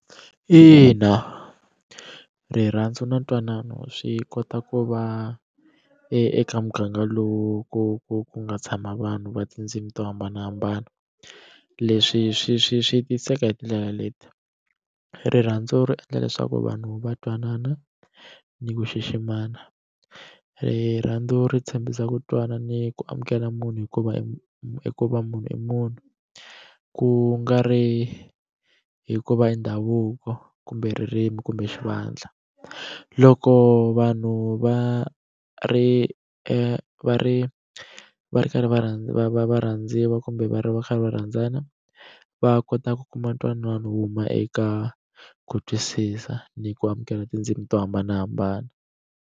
Ina, rirhandzu na ntwanano swi kota ku va eka muganga lowu ku ku ku nga tshama vanhu va tindzimi to hambanahambana leswi swi swi swi tiseka hi tindlela leti rirhandzu ri endla leswaku vanhu va twanana ni ku xiximana rirhandzu ri tshembisa ku twana ni ku amukela munhu hikuva hikuva munhu i munhu ku nga ri hikuva i ndhavuko kumbe ririmi kumbe xivandla loko vanhu va ri va ri va ri karhi va va va va rhandziwa kumbe va va va kha va rhandzana va kota ku kuma ntwanano wo huma eka ku twisisa ni ku amukela tindzimi to hambanahambana.